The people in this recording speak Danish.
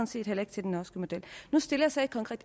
set heller ikke til den norske model